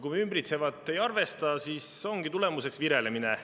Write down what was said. Kui me ümbritsevat ei arvesta, siis ongi tulemuseks virelemine.